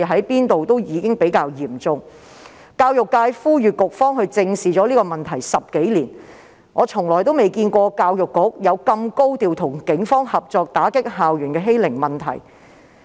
教育界10多年來也呼籲局方正視，但我從來也未見過教育局會如此高調地與警方合作打擊校園欺凌問題。